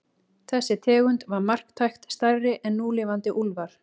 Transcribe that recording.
Þessi tegund var marktækt stærri en núlifandi úlfar.